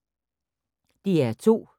DR2